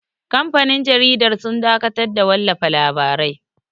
Kamfanin jaridar sun dakatar da wallafa labarai